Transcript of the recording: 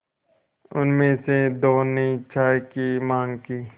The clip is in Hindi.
उनमें से दो ने चाय की माँग की